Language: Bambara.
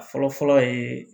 A fɔlɔ fɔlɔ ye